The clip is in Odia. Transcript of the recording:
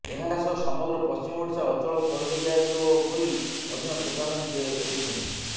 ଏହାସହ ସମଗ୍ର ପଶ୍ଚିମ ଓଡ଼ିଶା ଅଚଳ କରିଦିଆଯିବ ବୋଲି ମଧ୍ୟ ଚେତାବନୀ ଦେଇଛନ୍ତି